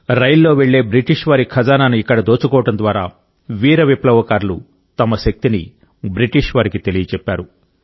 రైల్లో వెళ్లే బ్రిటిష్ వారి ఖజానాను ఇక్కడ దోచుకోవడం ద్వారా వీర విప్లవకారులు తమ శక్తిని బ్రిటిష్ వారికి తెలియజెప్పారు